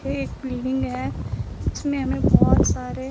एक बिल्डिंग है जिसमें हमें बहोत सारे --